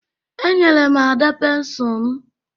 Enyere m Ada pensụl m